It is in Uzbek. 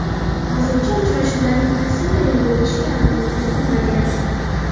Hozircha uchrashuvlarning qaysi maydonda o‘tishiga aniqlik kiritilmagan.